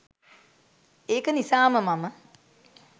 ඒක නිසාම මම